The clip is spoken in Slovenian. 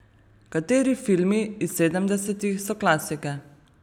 Kateri filmi iz sedemdesetih so klasike?